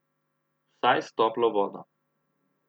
Vsaj s toplo vodo.